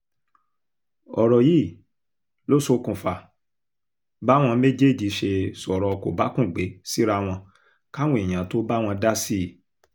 ọ̀rọ̀ yìí ló ṣokùnfà báwọn méjèèjì ṣe sọ̀rọ̀ kòbákùngbé síra wọn káwọn èèyàn tóo bá wọn dá sí i